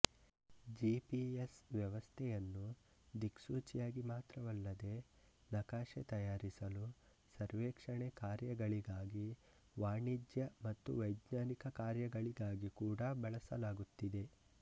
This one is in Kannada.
ಜಿಪಿಎಸ್ ವ್ಯವಸ್ಥೆಯನ್ನು ದಿಕ್ಸೂಚಿಯಾಗಿ ಮಾತ್ರವಲ್ಲದೆ ನಕಾಶೆ ತಯಾರಿಸಲು ಸರ್ವೇಕ್ಷಣೆ ಕಾರ್ಯಗಳಿಗಾಗಿ ವಾಣಿಜ್ಯ ಹಾಗೂ ವೈಜ್ಞಾನಿಕ ಕಾರ್ಯಗಳಿಗಾಗಿ ಕೂಡ ಬಳಸಲಾಗುತ್ತಿದೆ